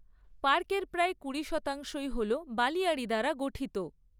পার্কের প্রায় কুড়ি শতাংশ হল বালিয়াড়ি দ্বারা গঠিত।